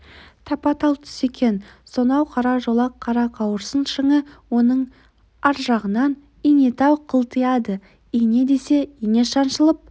тапа-тал түс екен сонау қара жолақ қарақауырсын шыңы оның аржағынан инетау қылтияды ине десе ине шаншылып